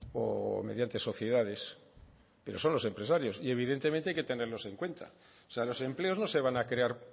o mediante sociedades pero son los empresarios y evidentemente hay que tenerlos en cuenta o sea los empleos no se van a crear